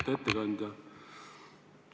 Lugupeetud ettekandja!